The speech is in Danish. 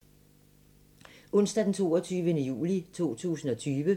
Onsdag d. 22. juli 2020